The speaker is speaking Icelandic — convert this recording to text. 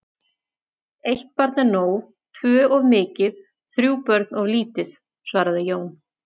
Eitt barn er nóg, tvö of mikið, þrjú börn of lítið, svaraði Jón.